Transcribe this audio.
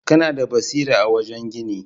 Kana da basira a wajen gini.